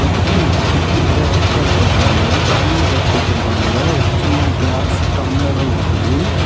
அப்புறம் சுத்தி நறைய ஆட்கள் இருக்காங்க தண்ணீ ஜக் வச்சிருக்காங்க ஒரு சின்ன கிளாஸ் டம்ளரு இருக்குது.